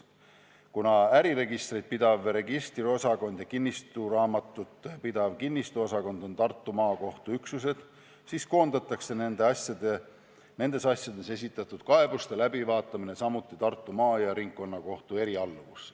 Kuna äriregistrit pidav registriosakond ja kinnistusraamatut pidav kinnistusosakond on Tartu Maakohtu üksused, siis koondatakse nendes asjades esitatud kaebuste läbivaatamine samuti Tartu maa- ja ringkonnakohtu erialluvusse.